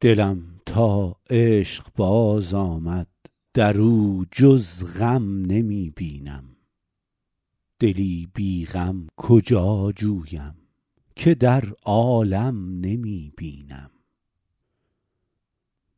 دلم تا عشق باز آمد در او جز غم نمی بینم دلی بی غم کجا جویم که در عالم نمی بینم